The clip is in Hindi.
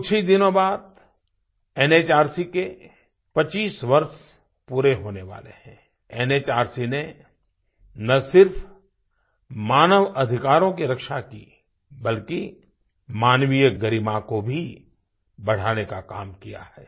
कुछ ही दिनों बाद एनएचआरसी के 25 वर्ष पूरे होने वाले हैंएनएचआरसी ने न सिर्फ़ मानव अधिकारों की रक्षा की बल्कि मानवीय गरिमा को भी बढ़ाने का काम किया है